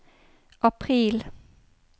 april